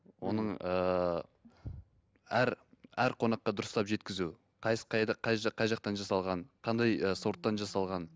оның ыыы әр қонаққа дұрыстап жеткізу қайда қай жақтан жасалған қандай ы сорттан жасалған